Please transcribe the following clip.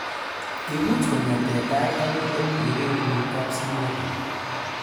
Ipuuch ko g'ete �tai akoi let ye kepunu kapsimotwo